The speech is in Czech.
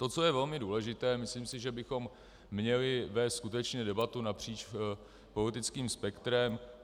To, co je velmi důležité, myslím si, že bychom měli vést skutečně debatu napříč politickým spektrem.